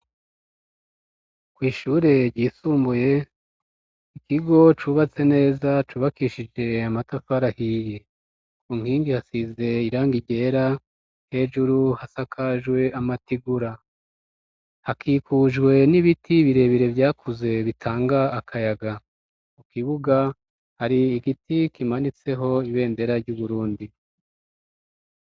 Kw'ishure ryisumbuye ,ikigo cubatse neza cubakishije amatafari ahiye, ku nkingi hasize irangi ryera, hejuru hasakajwe amategura, hakikujwe n'ibiti birebire vyakuze bitanga akayaga ,kukibuga hari igiti kimanitseho ibendera ry'uburundi.